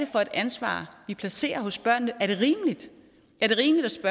for et ansvar vi placerer hos børnene er det rimeligt er det rimeligt